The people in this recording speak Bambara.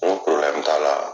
N ko t'a la.